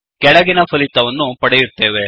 ಕೆಳಗಿನ ಫಲಿತವನ್ನು ಪಡೆಯುತ್ತೇವೆ